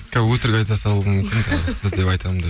қазір өтрік айта салуым мүмкін тағы да сіз деп айтамын деп